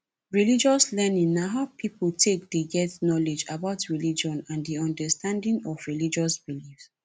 religious learning na how pipo take dey get knowlege about religion and di understanding of religious beliefs